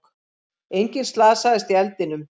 Enginn slasaðist í eldinum